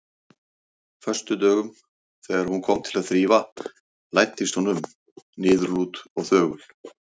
föstudögum, þegar hún kom til að þrífa, læddist hún um, niðurlút og þögul.